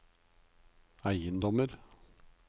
eiendommer